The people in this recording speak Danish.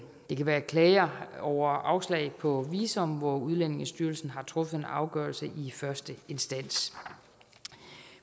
det kan være klager over afslag på visum hvor udlændingestyrelsen har truffet en afgørelse i første instans